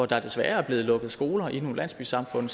der desværre er blevet lukket skoler i nogle landsbysamfund